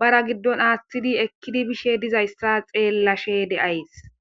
bara giddon aaththidi ekkidi bishe dizayssa xeellashe de7ays